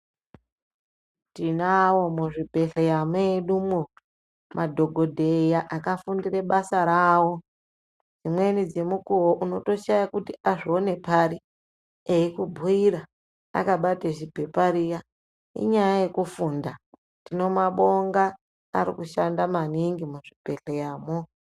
Tinawo muzvibhedhlera medumo madhogodheya akafundire basa rawo. Dzimweni dzemukuwo unotoshaye kuti azvione pari, eikubhuyira akabate ziphepa riya, inyaya yekufunda. Tinombabonga, arikushanda maningi muzvibhedhleramwo.